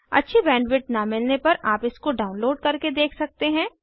अच्छी बैंडविड्थ न मिलने पर आप इसको डाउनलोड करके देख सकते हैं